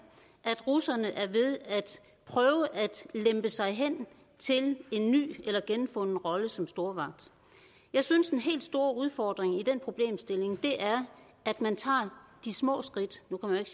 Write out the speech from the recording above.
at russerne er ved at prøve at lempe sig hen til en ny eller genfunden rolle som stormagt jeg synes den helt store udfordring i den problemstilling er at man tager de små skridt nu kan